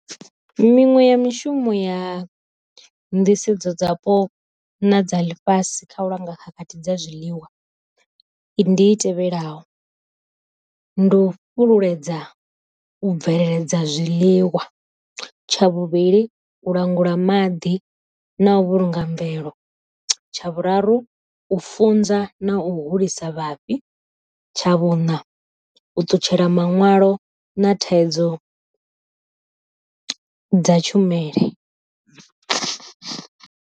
Miṅwe ya mishumo ya nḓisedzo dzapo na dza ḽifhasi kha u langa khakhathi dza zwiḽiwa i ndi i tevhelaho, ndi u fhululedza u bveledza zwiḽiwa, tsha vhuvhili u langula maḓi na u vhulunga mvelo, tsha vhuraru u funza na u holisa vhafhi, tsha vhuna u ṱutshela maṋwalo na thaidzo dza tshumele.